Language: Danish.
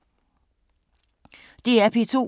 DR P2